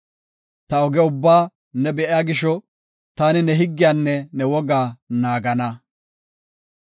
Ta oge ubbaa ne be7iya gisho, taani ne higgiyanne ne wogaa naagana;